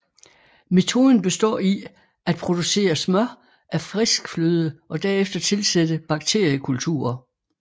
Metoden består i at producere smør af frisk fløde og derefter tilsætte bakteriekulturer